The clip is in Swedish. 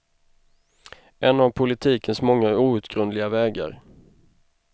En av politikens många outgrundliga vägar.